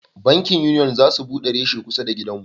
Bankin Union za su bude reshe kusa da gidan mu